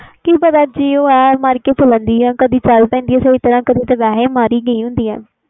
ਕਿ ਪਤਾ ਕਿ ਹੋਇਆ ਮਾਰ ਕੇ ਚਲਣ ਦੀ ਆ ਕਦੇ ਚਲ ਪੈਂਦੀ ਵਾ ਸਹੀ ਤਰਾਂ ਕਦੇ ਮਾਰ ਗਈ ਗੀ ਹੁੰਦੀ